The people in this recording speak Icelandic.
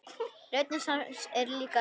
Rödd hans er líka rám.